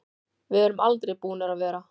Við erum aldrei búnir að vera.